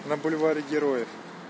на бульваре героев